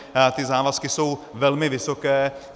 Ty závazky jsou velmi vysoké.